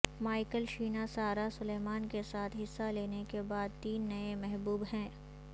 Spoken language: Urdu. مائیکل شینا سارہ سلیلمن کے ساتھ حصہ لینے کے بعد تین نئے محبوب ہیں